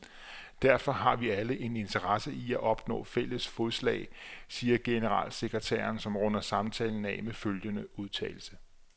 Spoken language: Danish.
Derfor har vi alle en interesse i at opnå fælles fodslag, siger generalsekretæren, som runder samtalen af med følgende udtalelse.